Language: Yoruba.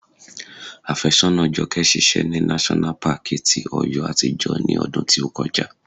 Afésọ́nàa Jọkẹ́ ṣiṣẹ́ ní náṣọ́nà paàkì ti Ọ̀yọ́ àtijọ́ ní ọdún tí ó kọjá